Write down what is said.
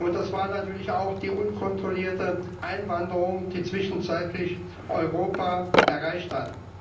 Das war natürlich auch die unkontrollierte Einwanderung, die zwischenzeitlich Europa erreicht hat.